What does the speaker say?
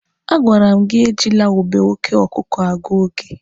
A gwara m gị ejila ube oke ọkụkụ agụ oge!